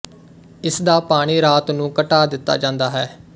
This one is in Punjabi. ਇਸ ਦਾ ਪਾਣੀ ਰਾਤ ਨੂੰ ਘਟਾ ਦਿੱਤਾ ਜਾਂਦਾ ਹੈ